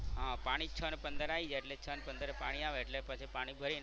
હા પાણી છ ને પંદરે આવી જાય એટલે છ ને પંદરે પાણી આવે એટલે પછી પાણી ભરી ને.